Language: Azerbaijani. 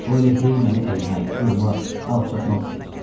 O elə hey məni əymək, qırmaq, alçaltmaq istəyir.